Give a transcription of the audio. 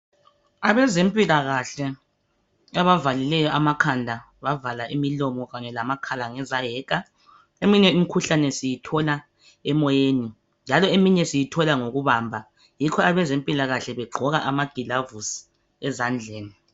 Abezempilakahle abavalileyo amakhanda, bavala imilomo, kanye lamakhala, ngezayeka. Emihye imikhuhlane siyithola emoyeni, njalo . eminye siyithola ngokubamba. Yikho abezempilakahle, begqoka amagilovisi ezandleni.